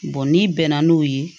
n'i bɛnna n'o ye